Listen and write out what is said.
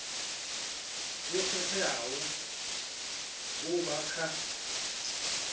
yo khetheaho u bva kha